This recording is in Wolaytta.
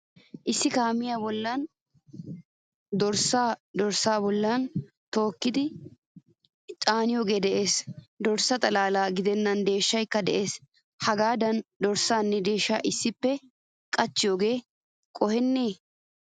Issi kaamiyaa bollan dorssa dorssa bollan tuccidi caanoge de'ees. Dorssa xalala gidenan deeshshaykka de'ees. Hagadan dorssanne deeshsha issippe caaniyoge qoheene?